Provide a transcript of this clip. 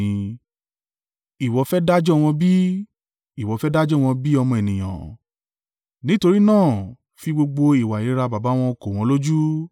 “Ìwọ fẹ́ dájọ́ wọn bí? Ìwọ fẹ́ dájọ́ wọn bí ọmọ ènìyàn? Nítorí náà fi gbogbo ìwà ìríra baba wọn kò wọ́n lójú,